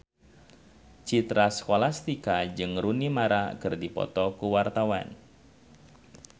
Citra Scholastika jeung Rooney Mara keur dipoto ku wartawan